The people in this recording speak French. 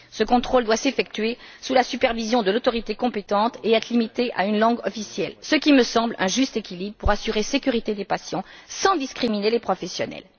Ce contrôle doit s'effectuer sous la supervision de l'autorité compétente et être limité à une langue officielle, ce qui me semble être un juste équilibre pour assurer la sécurité des patients sans discriminer les professionnels.